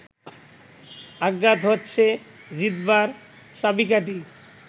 আঘাত হচ্ছে জিতবার চাবিকাঠি